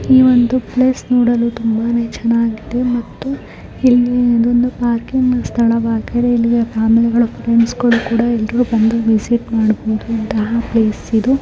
ಈ ಒಂದು ಪ್ಲೇಸ್ ನೋಡಲು ತುಂಬಾನೆ ಚನ್ನಾಗಿದೆ